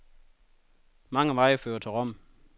Mange veje fører til Rom.